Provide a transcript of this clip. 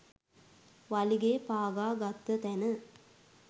වලිගෙ පාගා ගත්ත තැන.